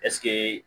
Ɛseke